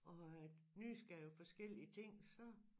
Og at nysgerrig på forskellige ting så